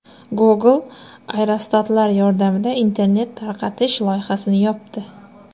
Google aerostatlar yordamida internet tarqatish loyihasini yopdi.